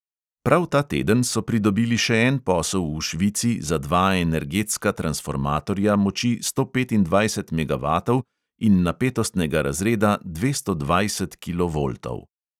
Prav ta teden so pridobili še en posel v švici za dva energetska transformatorja moči sto petindvajset megavatov in napetostnega razreda dvesto dvajset kilovoltov.